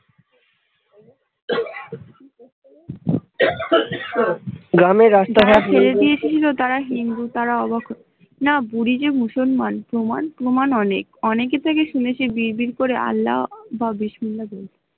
না বুড়ি যে মুসলমান প্রমান । প্রামান অনেক অনেকর মুখে শুনেছি মুখে বির বির করে আল্লা বা